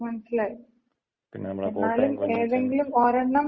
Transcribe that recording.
മനസിലായി എന്നാലും ഏതെങ്കിലും ഒരെണ്ണം.